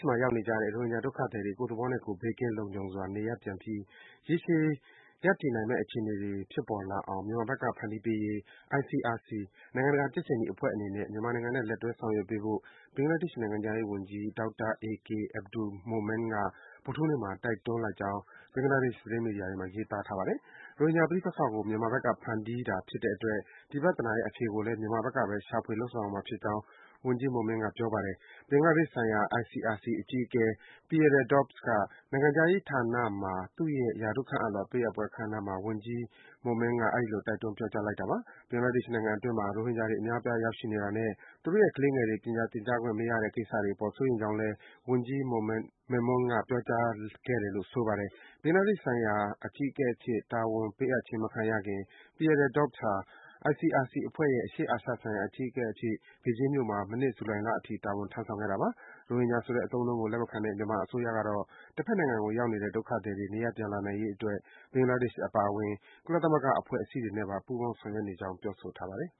မှာ ရောက်နေကြတဲ့ ရိုဟင်ဂျာ ဒုက္ခသည်တွေ ကိုယ့်သဘောနဲ့ကိုယ် ဘေးကင်းလုံခြုံစွာ နေရပ်ပြန်ပြီး ရေရှည် ရပ်တည်နိုင်မယ့် အခြေအနေတွေ ဖြစ်ပေါ်လာအောင် မြန်မာဘက်က ဖန်တီးပေးရေး ICRC နိုင်ငံတကာ ကြက်ခြေနီအဖွဲ့ အနေနဲ့ မြန်မာနိုင်ငံနဲ့ လက်တွဲ ဆောင်ရွက်ပေးဖို့ ဘင်္ဂလားဒေ့ရှ် နိုင်ငံခြားရေးဝန်ကြီး ဒေါက်တာ AK Abdul Momen က ဗုဒ္ဓဟူးနေ့မှာ တိုက်တွန်းလိုက်ကြောင်း ဘင်္ဂလားဒေ့ရှ် သတင်းမီဒီယာတွေမှာ ရေးသားထားပါတယ်။ ရိုဟင်ဂျာ ပဋိပက္ခကို မြန်မာဘက်က ဖန်တီးတာဖြစ်တဲ့ အတွက် ဒီပြဿနာရဲ့ အဖြေကိုလည်း မြန်မာဘက်ကဘဲ ရှာဖွေ လုပ်ဆောင်ရမှာ ဖြစ်ကြောင်း ဝန်ကြီး Momen က ပြောပါတယ်။ ဘင်္ဂလားဒေ့ရှ်ဆိုင်ရာ ICRC အဖွဲ့အကြီးအကဲ Pierre Dorbes က နိုင်ငံခြားရေးဌာနမှာ သူ့ရဲ့ ရာထူးခန့်အပ်လွှာ ပေးအပ်ပွဲ အခမ်းအနားမှာ ဝန်ကြီး Momen က အဲဒီလို တိုက်တွန်း ပြောကြားလိုက်တာပါ။ ဘင်္ဂလားဒေ့ရှ် နိုင်ငံအတွင်းမှာ ရိုဟင်ဂျာတွေ အများအပြား ရောက်ရှိနေတာနဲ့ သူတို့ရဲ့ ကလေးငယ်တွေ ပညာသင်ကြားခွင့်မရတဲ့ ကိစ္စတွေအပေါ် စိုးရိမ်ကြောင်းလည်း ဝန်ကြီး Memon က ပြောကြားခဲ့တယ်လို့ ဆိုပါတယ်။ ဘင်္ဂလားဒေ့ရှ်ဆိုင်ရာ အကြီးအကဲအဖြစ် တာဝန်ပေးအပ်ခြင်း မခံရခင် Pierre Dorbes ဟာ ICRC အဖွဲ့ရဲ့ အရှေ့အာရှဒေသဆိုင်ရာ အကြီးအကဲအဖြစ် ဘေဂျင်းမြို့မှာ မနှစ် ဇူလိုင်လအထိ တာဝန်ထမ်းဆောင်ခဲ့တာပါ။ ရိုဟင်ဂျာဆိုတဲ့ အသုံးအနှုန်းကို လက်မခံတဲ့ မြန်မာအစိုးရကတော့ တဘက်နိုင်ငံကိုရောက်နေတဲ့ ဒုက္ခသည်တွေ နေရပ်ပြန်လာနိုင်ရေးအတွက် ဘင်္ဂလားဒေ့ရှ် အပါအဝင် ကုလသမဂ္ဂ အဖွဲ့အစည်းတွေနဲ့ ပူးပေါင်း ဆောင်ရွက်နေကြောင်း ပြောဆိုထားပါတယ်